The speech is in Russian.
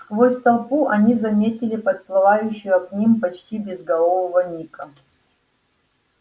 сквозь толпу они заметили подплывающего к ним почти безголового ника